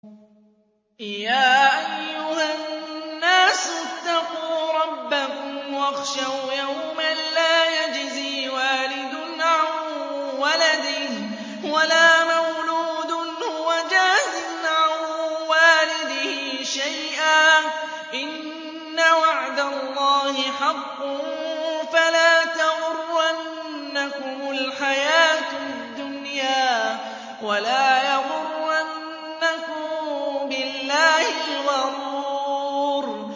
يَا أَيُّهَا النَّاسُ اتَّقُوا رَبَّكُمْ وَاخْشَوْا يَوْمًا لَّا يَجْزِي وَالِدٌ عَن وَلَدِهِ وَلَا مَوْلُودٌ هُوَ جَازٍ عَن وَالِدِهِ شَيْئًا ۚ إِنَّ وَعْدَ اللَّهِ حَقٌّ ۖ فَلَا تَغُرَّنَّكُمُ الْحَيَاةُ الدُّنْيَا وَلَا يَغُرَّنَّكُم بِاللَّهِ الْغَرُورُ